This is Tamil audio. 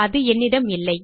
அது என்னிடம் இல்லை